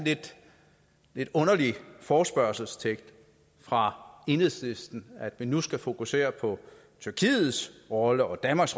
lidt underlig forespørgselstekst fra enhedslisten at vi nu skal fokusere på tyrkiets rolle og danmarks